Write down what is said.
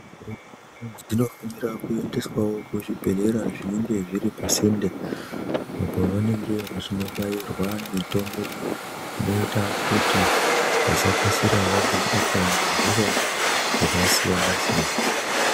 Dzinosisirawo kuendeswa kuzvibhedhlerawo zviri pasinde apo vanenge veibairwa mitombo inoita kuti vasakasirra vabatwa hosha zvakasiyana-siyana.